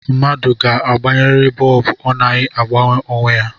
Mmadụ ga-agbanyeriri bọọbụ, ọ naghi agbanye onwe ya